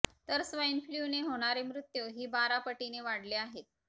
तर स्वाईन फ्लूने होणारे मृत्यू हि बारा पटीने वाढले आहेत